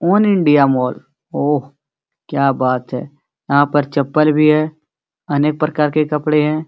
All India mall oh क्या बात है यहां पर चप्पल भी है अनेक प्रकार के कपड़े हैं।